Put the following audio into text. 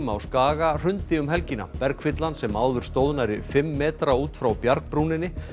á Skaga hrundi um helgina sem áður stóð nærri fimm metra út frá bjargbrúninni